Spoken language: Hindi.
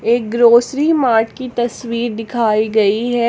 ये ग्रोसरी मार्ट की तस्वीर दिखाई गई हैं।